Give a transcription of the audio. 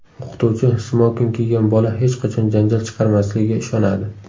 O‘qituvchi smoking kiygan bola hech qachon janjal chiqarmasligiga ishonadi.